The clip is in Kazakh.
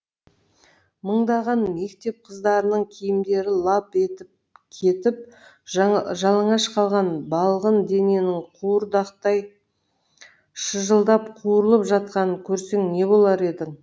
мыңдаған мектеп қыздарының киімдері лап етіп кетіп жалаңаш қалған балғын дененің қуырдақтай шыжылдап қуырылып жатқанын көрсең не болар едің